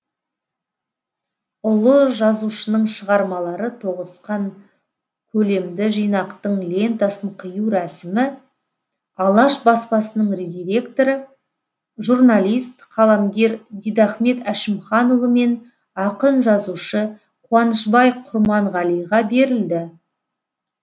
ұлы жазушының шығармалары тоғысқан көлемді жинақтың лентасын қию рәсімі алаш баспасының директоры журналист қаламгер дидахмет әшімханұлы мен ақын жазушы қуанышбай құрманғалиға берілді